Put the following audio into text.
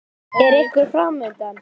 Er einhver keppni fram undan?